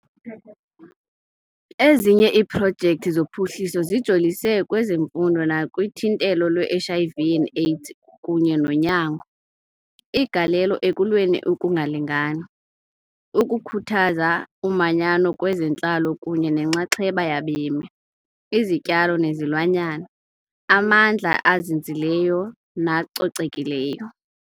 Ezinye iiprojekthi zophuhliso zijolise kwezemfundo nakuthintelo lwe-HIV and AIDS kunye nonyango, igalelo ekulweni ukungalingani, ukukhuthaza umanyano kwezentlalo kunye nenxaxheba yabemi, izityalo nezilwanyana, amandla azinzileyo nacocekileyo.